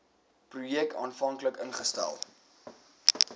projek aanvanklik ingestel